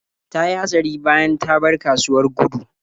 Ta yi hatsari bayan ta bar kasuwar Gudu.